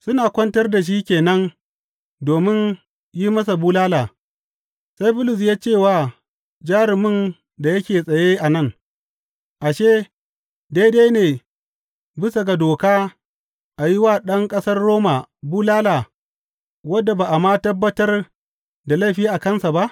Suna kwantar da shi ke nan domin a yi masa bulala, sai Bulus ya ce wa jarumin da yake tsaye a nan, Ashe, daidai ne bisa ga doka a yi wa ɗan ƙasar Roma bulala wanda ba a ma tabbatar da laifi a kansa ba?